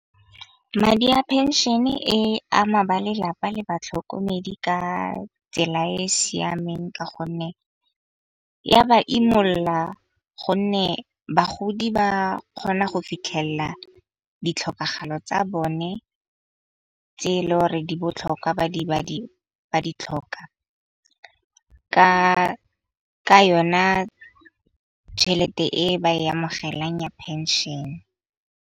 Madi a phenšene e ama ba lelapa le batlhokomedi ka tsela e e siameng. Ka gonne ya ba imolla gonne bagodi ba kgona go fitlhelela ditlhokagalo tsa bone tse e leng gore di botlhokwa. Ba di tlhoka ka yona tšhelete e ba e amogelang ya phenšene.